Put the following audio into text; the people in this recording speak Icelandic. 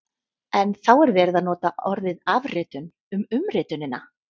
En þá er verið að nota orðið afritun um umritunina!